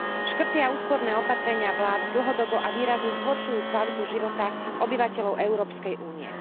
Škrty a úsporné opatrenia vlád dlhodobo a výrazne zhoršujú kvalitu života obyvateľov Európskej únie.